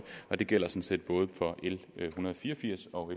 og det gælder sådan set både for l en hundrede og fire og firs og